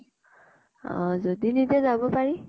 অ । যদি নিদিয়ে যাব পাৰি।